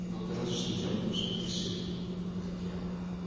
вопрос с жильём можем решить не проблема